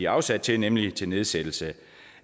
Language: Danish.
afsat til nemlig til nedsættelse